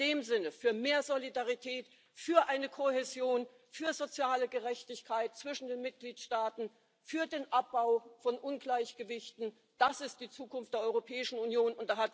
In dem Sinne Für mehr Solidarität, für eine Kohäsion, für soziale Gerechtigkeit zwischen den Mitgliedstaaten, für den Abbau von Ungleichgewichten das ist die Zukunft der Europäischen Union.